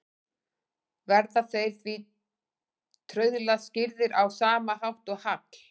Verða þeir því trauðla skýrðir á sama hátt og hagl.